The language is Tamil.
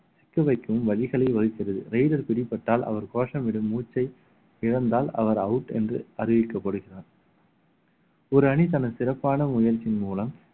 சிக்க வைக்கவும் வழிகளை raider பிடிபட்டால் அவர் கோஷமிடும் மூச்சை இழந்தால் அவர் out என்று அறிவிக்கப்படுகிறார் ஒரு அணி தனது சிறப்பான முயற்சியின் மூலம்